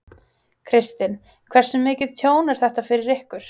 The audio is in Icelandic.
Kristinn: Hversu mikið tjón er þetta fyrir ykkur?